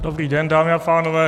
Dobrý den, dámy a pánové.